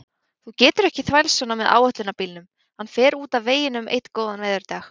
Þú getur ekki þvælst svona með áætlunarbílnum, hann fer út af veginum einn góðan veðurdag.